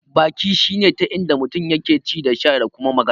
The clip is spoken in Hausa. Baki shine ta inda mutum yake ci da sha da kuma magana.